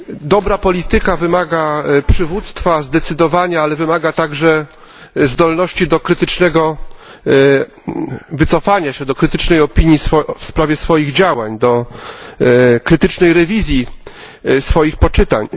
Dobra polityka wymaga przywództwa, zdecydowania, ale wymaga także zdolności do krytycznego wycofania się, do krytycznej opinii w sprawie swoich działań, do krytycznej rewizji swoich poczynań.